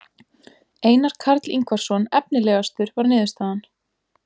Einar Karl Ingvarsson efnilegastur var niðurstaðan.